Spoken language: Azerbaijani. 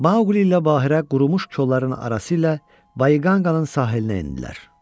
Mauqli ilə Bahirə qurumuş kolların arası ilə Bayqanqanın sahilinə endilər.